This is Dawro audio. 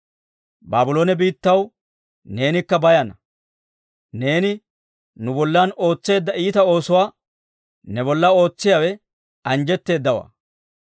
Baabloone biittaw, neenikka bayana! Neeni nu bollan ootseedda iita oosuwaa, ne bolla ootsiyaawe anjjetteedawaa.